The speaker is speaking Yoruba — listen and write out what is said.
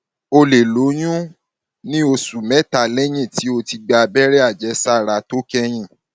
o lè lóyún lè lóyún ní oṣù mẹta lẹyìn tí o ti gba abẹrẹ àjẹsára tó kẹyìn